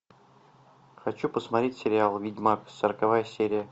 хочу посмотреть сериал ведьмак сороковая серия